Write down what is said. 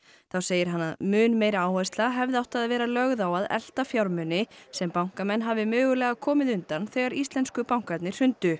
þá segir hann að mun meiri áhersla hefði átt að vera lögð á að elta fjármuni sem bankamenn hafi mögulega komið undan þegar íslensku bankarnir hrundu